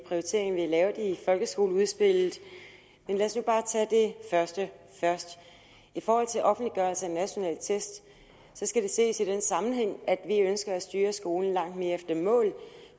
prioriteringer vi har lavet i folkeskoleudspillet men lad os nu bare tage det første først i forhold til offentliggørelse af nationale test skal det ses i den sammenhæng at vi ønsker at styre skolen langt mere efter mål